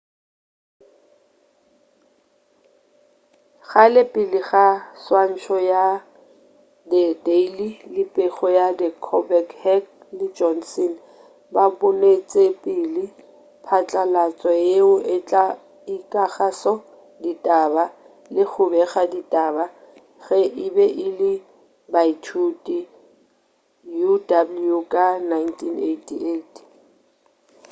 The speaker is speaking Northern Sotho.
kgale pele ga swantšho ya the daily le pego ya the colbert heck le johnson ba bonetšepele phatlalatšo yeo e tla ekišago ditaba-le go bega ditaba-ge e be e le baithuti uw ka 1988